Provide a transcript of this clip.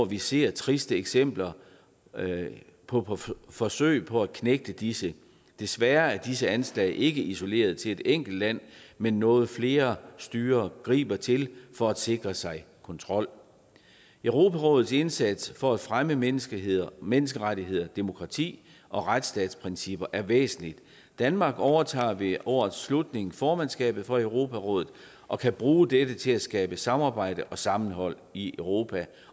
vi ser triste eksempler på forsøg på at knægte disse desværre er disse anslag ikke isoleret til et enkelt land men noget flere styrer griber til for at sikre sig kontrol europarådets indsats for at fremme menneskerettigheder menneskerettigheder demokrati og retsstatsprincipper er væsentlig danmark overtager ved årets slutning formandskabet for europarådet og kan bruge dette til at skabe samarbejde og sammenhold i europa